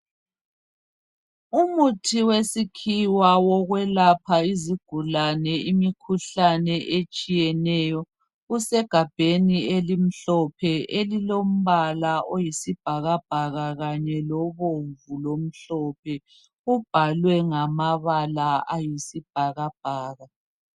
Umuthi wesikhiwa wokwelapha izigulane imikhuhlane etshiyeneyo. Usegabheni elimhlophe elilo mbala oyi sibhakabhaka kanye lobomvu lomhlophe. Kubhalwe ngamabala ayi sibhakabhaka.